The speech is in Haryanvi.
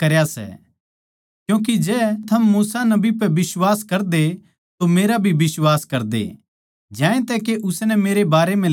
क्यूँके जै थम मूसा नबी पै बिश्वास करदे तो मेरा भी बिश्वास करदे ज्यांतै के उसनै मेरै बारै म्ह लिख्या सै